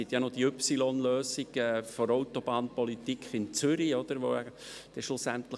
Zu Hauptziel D, Wohn- und Arbeitsstandorte differenziert aufwerten;